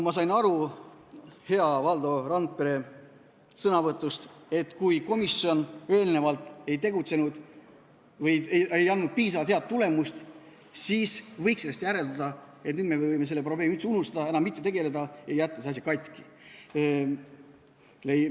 Ma sain hea Valdo Randpere sõnavõtust aru, et kui komisjon eelnevalt ei andnud piisavalt head tulemust, siis võiks sellest järeldada, et nüüd me võime selle probleemi üldse unustada, enam mitte sellega tegeleda ja jätta selle asja katki.